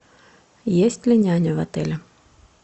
есть ли няня в отеле